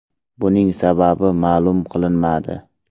Buning sababi ma’lum qilinmadi.